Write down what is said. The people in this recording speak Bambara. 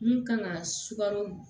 Mun kan ka sugaro